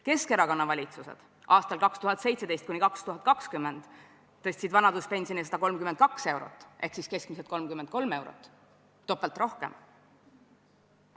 Keskerakonna valitsused tõstsid aastatel 2017–2020 vanaduspensioni 132 eurot ehk keskmiselt 33 eurot, topelt rohkem.